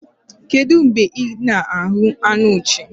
Kedụ mgbe ị na-ahụ anụ nchi?